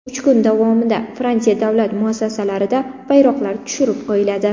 Uch kun davomida Fransiya davlat muassasalarida bayroqlar tushirib qo‘yiladi.